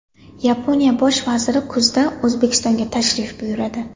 Yaponiya bosh vaziri kuzda O‘zbekistonga tashrif buyuradi.